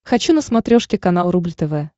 хочу на смотрешке канал рубль тв